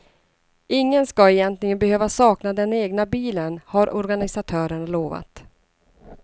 Ingen ska egentligen behöva sakna den egna bilen, har organisatörerna lovat.